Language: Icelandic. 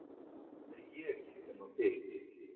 Það er ég sem á þig.